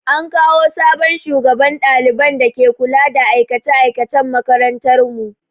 An kawo sabon shugaban ɗaliban da ke kula da aikace aikacen makarantar mu.